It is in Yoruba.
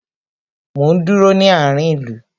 Mo ń dúró ní àárín ìlú